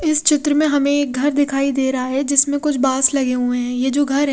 इस चित्र में हमे एक घर दिखाई देरा है जिसमे कुछ बास लगे हुए है ये जो घर है--